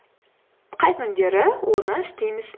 қай күндері оны істейміз